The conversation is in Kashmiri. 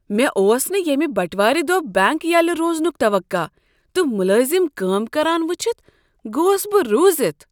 مےٚ اوس نہٕ ییمِہ بٹوارِ دۄہ بینک یلہٕ روزنک توقع تہٕ ملٲزم کٲم کران وچھتھ گوس بہ رُوزِتھ۔